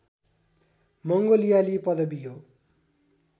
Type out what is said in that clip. मङ्गोलियाली पदवी हो